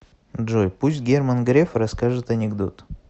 джой пусть герман греф расскажет анекдот